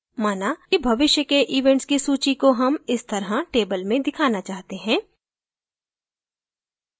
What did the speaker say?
माना कि भविष्य के events की सूची को हम इस तरह table में दिखाना चाहते हैं